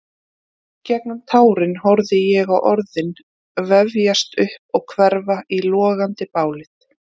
Í gegnum tárin horfði ég á orðin vefjast upp og hverfa í logandi bálið.